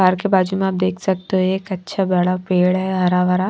बाहर के बाजू में आप देख सकते हो एक अच्छा बड़ा पेड़ है हरा भरा--